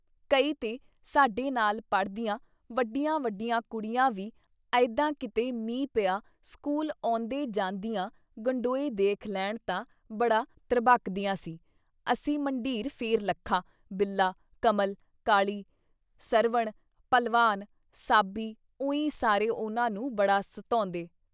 ਕਈ ਤੇ ਸਾਡੇ ਨਾਲ ਪੜ੍ਹਦੀਆਂ ਵੱਡੀਆਂ- ਵੱਡੀਆਂ ਕੁੜੀਆਂ ਵੀ ਅਈਦਾਂ ਕਿਤੇ ਮੀਂਹ ਪਿਆ ਸਕੂਲ ਆਉਂਦੇ ਜਾਂਦਿਆਂ ਗੰਡੋਏ ਦੇਖ ਲੈਣ ਤਾਂ ਬੜਾ ਤ੍ਰਭਕਦੀਆਂ ਸੀ, ਅਸੀਂ ਮੰਢੀਰ ਫਿਰ ਲੱਖਾ, ਬਿੱਲਾ, ਕਮਲ, ਕਾਲੀ, ਸਰਵਣ, ਭਲਵਾਨ, ਸਾਬੀ ਉਈਂ ਸਾਰੇ ਉਹਨਾਂ ਨੂੰ ਬੜਾ ਸਤੌਂਦੇ।